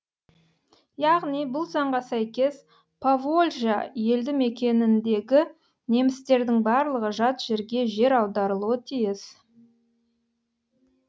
яғни бұл заңға сәйкес поволжья елді мекеніндегі немістердің барлығы жат жерге жер аударылуы тиіс